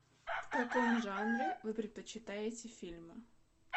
в каком жанре вы предпочитаете фильмы